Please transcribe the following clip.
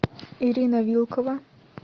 ирина вилкова